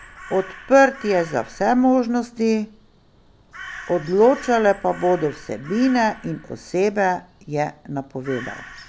Odprt je za vse možnosti, odločale pa bodo vsebine in osebe, je napovedal.